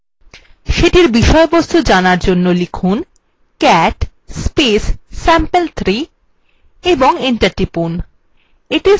সেটির বিষয়বস্তু জানার জন্য লিখুন cat sample3 এবং enter টিপুন